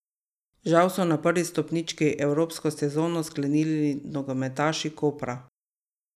Žal so na prvi stopnički evropsko sezono sklenili nogometaši Kopra.